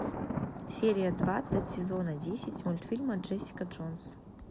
серия двадцать сезона десять мультфильма джессика джонс